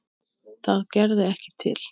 Það gerði ekki til.